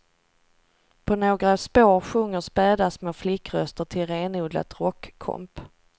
På några spår sjunger späda små flickröster till renodlat rockkomp.